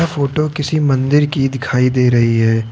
Photo किसी मंदिर की दिखाई दे रही है।